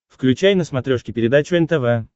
включай на смотрешке передачу нтв